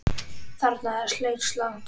Þarna er langt seilst.